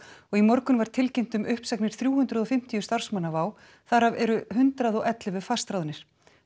og í morgun var tilkynnt um uppsagnir þrjú hundruð og fimmtíu starfsmanna WOW þar af eru hundrað og ellefu fastráðnir